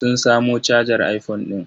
Sun samo cajar iphone ɗin.